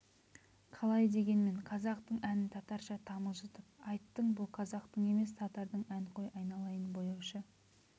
қалай дегенмен қазақтың әнін татарша тамылжытып айттың бұл қазақтың емес татардың ән қой айналайын бояушы